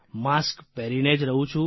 mask પહેરીને જ રહું છું